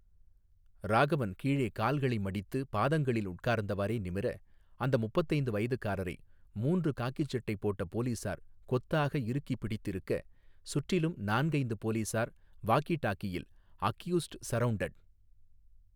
ராகவன் கீழே கால்களை மடித்து பாதங்களில் உட்கார்ந்தவாறே நிமிர அந்த முப்பத்தைந்து வயதுக்காரரை மூன்று காக்கிச்சட்டை போட்ட போலீஸார் கொத்தாக இறுக்கிப் பிடித்திருக்க சுற்றிலும் நான்கைந்து போலீஸார் வாக்கி டாக்கியில் அக்யூஸ்ட் சர்ரவுண்டட்.